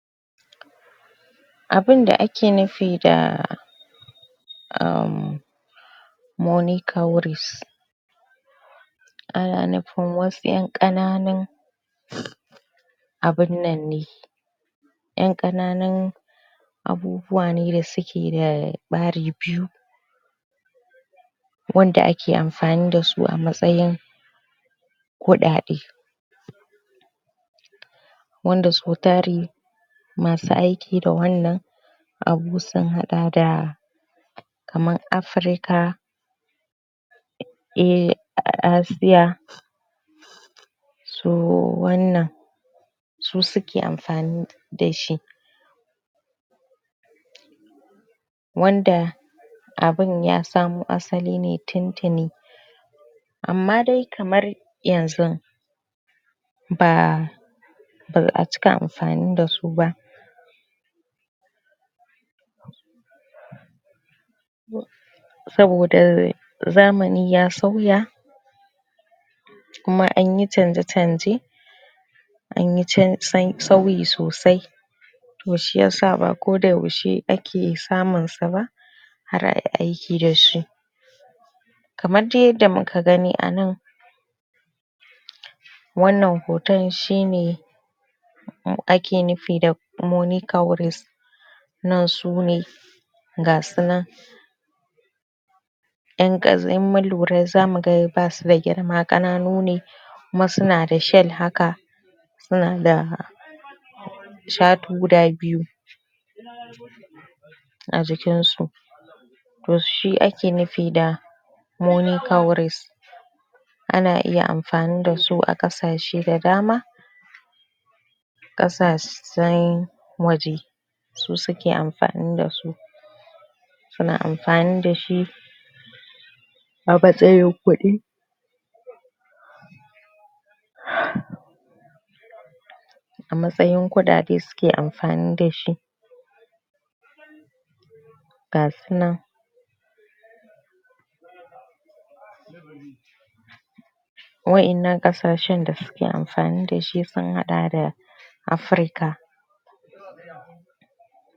Abunda ake nufi da aamm money cowries. Ana nufin wasu ƴan ƙananun abun nan ne ƴan ƙananun abubuwa ne da suke da ɓari biyu. Wanda ke amfani da su a matsayin kuɗaɗe. Wanda so tari masu aiki da wannan abu sun haɗa da kamar Afirika, eh, a a Asiya to wannan su suke amfani da shi. Wanda abun ya samo asali ne tun-tuni. Amma dai kamar yanzu ba ba a cika amfani da su ba saboda zamani ya sauya, kuma an yi canje-canje. An yi ca, sa, sauyi sosai to shi yasa ba koda yaushe ake samun sa ba, har ayi aiki da su. Kamar dai yadda muka gani a nan Wannan hoton shi ne ake nufi da money cowries. Nan su ne ga su nan in ka, in mun lura zamu ga basu da girma ƴan ƙananu ne kuma su na da shell haka, su na da shatu guda biyu a jikin su. To shi ake nufi da money cowries. Ana iya amfani da su a ƙasashe da dama ƙasashen waje, su suke amfani da su. Su na amfani dashi a matsayin kuɗi. A matsayin kuɗaɗe suke amfani dashi. Ga su nan waƴannan ƙasashen da suke amfani dashi sun haɗa da; Afirika.